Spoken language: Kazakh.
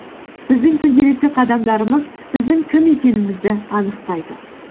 біздің күнделікті қадамдарымыз біздің кім екенімізді анықтайды